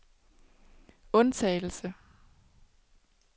undtagelse